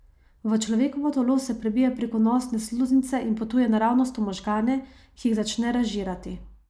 V človekovo telo se prebije preko nosne sluznice in potuje naravnost v možgane, ki jih začne razžirati.